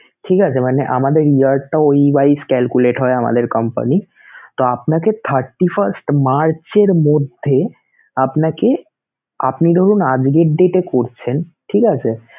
ঠিক আছে! মানে আমাদের year টা ওই wise calculate হয় আমাদের company তো আপনাকে thirty first মার্চের মধ্যে আপনাকে~ আপনি ধরুন আজকের date এ করছেন ঠিক আছে